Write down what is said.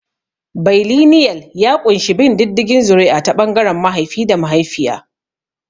Bailinial ya ƙunshi bin diddigin zuri'a ta ɓangaren mahaifi da mahaifiya.